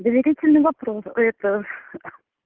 доверительный вопрос это